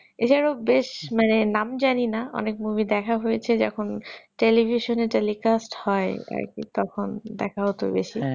এছাড়াও বেশ নাম জানি না অনেক movie দেখা হয়েছে যখন television এ telecast হয় আর কি তখন দেখা হতো বেশি